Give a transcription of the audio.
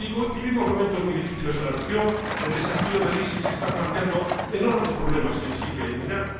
Vivimos momentos muy difíciles en la región, ya que el desafío del ISIS está planteando enormes problemas en Siria y en Irak.